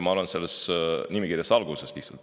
Ma olen selle nimekirja alguses lihtsalt.